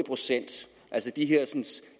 procent altså de her